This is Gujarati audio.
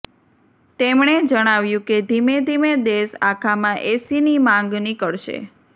તેમણે જણાવ્યું કે ધીમે ધીમે દેશ આખામાં એસીની માંગ નીકળશે